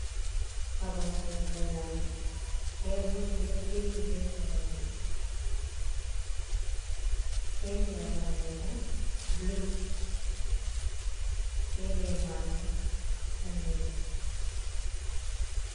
Babal sorugo nyamdu, te burji ɗo shiryi be koronji, penti babal mai bo blu, be le maru bo danejum.